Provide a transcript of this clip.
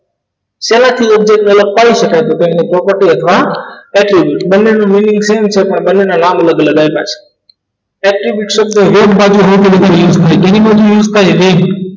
શેનાથી object તો એની property અથવા બંનેનો mining same છે પણ બંને ના અલગ અલગ આવ્યા છે એક થી એક શબ્દો એક બાજુ